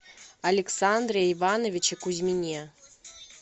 александре ивановиче кузьмине